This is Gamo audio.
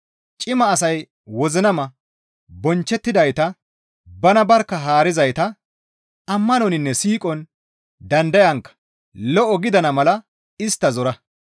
Cima asay wozinama, bonchchettidayta, bana barkka haarizayta, ammanoninne siiqon, dandayankka lo7o gidana mala ne istta zora.